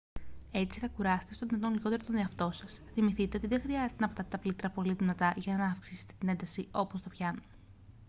έτσι θα κουράσετε όσο το δυνατόν λιγότερο τον εαυτό σας θυμηθείτε ότι δεν χρειάζεται να πατάτε τα πλήκτρα πολύ δυνατά για να αυξήσετε την ένταση όπως στο πιάνο